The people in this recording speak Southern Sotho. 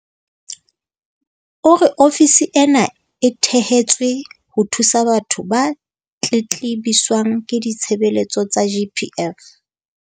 O re ofisi ena e thehetswe ho thusa batho ba tletlebiswang ke ditshebeletso tsa GPF.